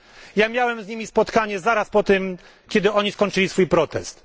Ja miałem z nimi spotkanie zaraz po tym, kiedy skończyli swój protest.